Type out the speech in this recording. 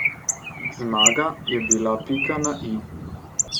Zmaga je bila pika na i.